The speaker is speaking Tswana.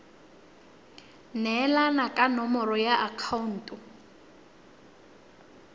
neelana ka nomoro ya akhaonto